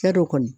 Cɛ don kɔni